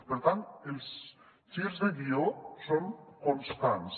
per tant els girs de guió són constants